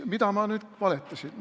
Mida ma nüüd valetasin?